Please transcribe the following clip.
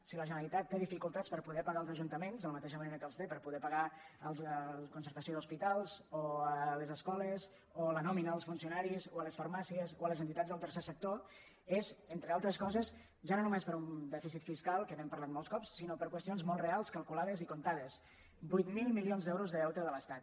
si la generalitat té difi·cultats per poder pagar als ajuntaments de la matei·xa manera que en té per poder pagar la concertació d’hospitals o les escoles o la nòmina dels funcionaris o les farmàcies o les entitats del tercer sector és en·tre altres coses ja no només per un dèficit fiscal que n’hem parlat molts cops sinó per qüestions molt re·als calculades i comptades vuit mil milions d’euros de deute de l’estat